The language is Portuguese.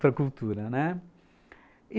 para cultura, né? e